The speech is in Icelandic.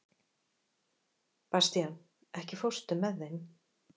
Bastían, ekki fórstu með þeim?